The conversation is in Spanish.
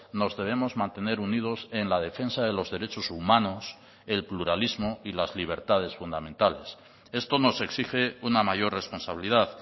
nos debemos mantener unidos en la defensa de los derechos humanos el pluralismo y las libertades fundamentales esto nos exige una mayor responsabilidad